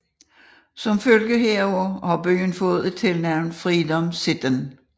Som følge deraf har byen fået tilnavnet Freedom City